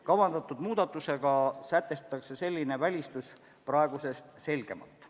Kavandatud muudatusega sätestatakse selline välistus praegusest selgemalt.